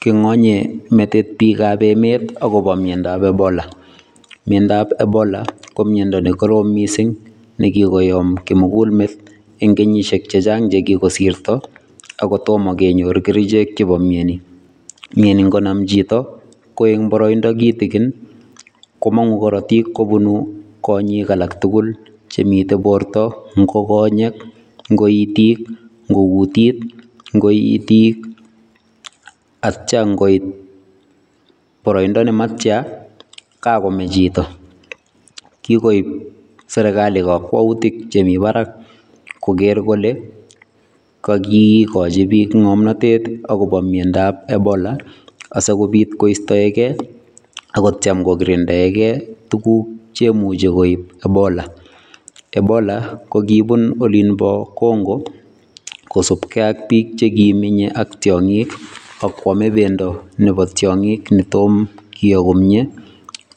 Kingonyei metit biikab emet akobo miandoab Ebola, miandoab ebola ko miando nekoroom mising nekikoyoom kimugul meet eng kenyisiek chechang che kikosirto ako tomo kenyor kerichek chebo miani. Miani ngonam chito ko eng baraindo kitigiin komangu karotiik kobun konyek alak tugul chemitei borto, ngo konyek, ngo itik, ngo kutit, ngo itik atya ngoit baraindo nematya kakomee chito. Kikoip serikali kakwoutik chemi barak kogeer kole kakikochi biik ngomnatet akobo miandoab ebola asikopit koistoeke akot kocham kokirinda tuguk che imuche koip Ebola. Ebola kokibunu olimbo Congo kosuupkei ak biik che kimenyei ak tiongik ak kwame pendo nebo tiongik netomo kiyoo komnye,